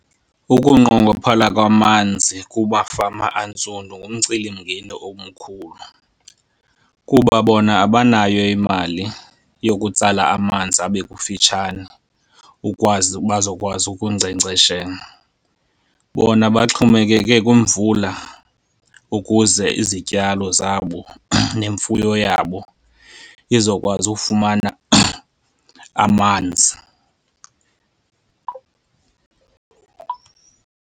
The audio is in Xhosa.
Ukunqongophala kwamanzi kubafama antsundu ngumcelimngeni omkhulu, kuba bona abanayo imali yokutsala amanzi abe kufitshane ukwazi bazokwazi ukunkcenkceshela. Bona baxhomekeke kwimvula ukuze izityalo zabo nemfuyo yabo izokwazi ufumana amanzi.